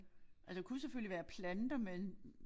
Altså kunne selvfølgelig være planter men